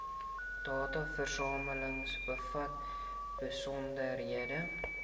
dataversameling bevat besonderhede